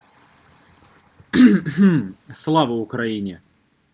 слава украине